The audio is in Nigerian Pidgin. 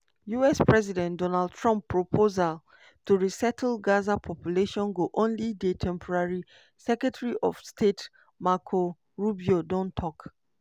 us president donald trump proposal to resettle gaza population go only dey temporary secretary of state marco rubio don tok.